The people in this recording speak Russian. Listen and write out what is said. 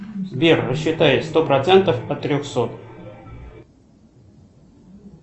сбер рассчитай сто процентов от трехсот